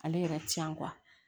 Ale yɛrɛ ti yan